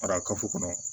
Fara kafo kɔnɔ